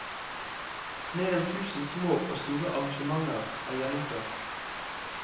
Mer enn tusen små og store arrangementer er gjennomført.